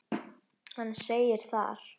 Hann segir þar